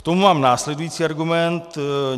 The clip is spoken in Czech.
K tomu mám následující argument.